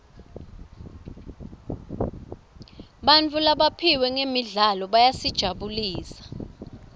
bantfu labaphiwe ngemidlalo bayasijabulisa